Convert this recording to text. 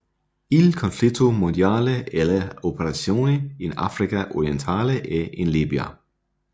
Il conflitto mondiale e le operazioni in Africa Orientale e in Libia